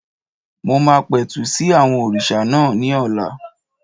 Mo máa pẹ̀tù sí àwọn òrìṣà náà ní ọ̀la